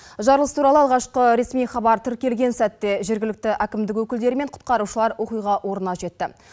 жарылыс туралы алғашқы ресми хабар тіркелген сәтте жергілікті әкімдік өкілдері мен құтқарушылар оқиға орнына жетті